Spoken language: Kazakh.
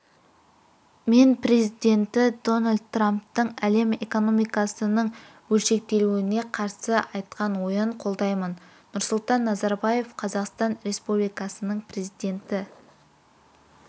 мен президенті дональд трамптың әлем экономикасының бөлшектелуіне қарсы айтқан ойын қолдаймын нұрсұлтан назарбаев қазақстан республикасының президенті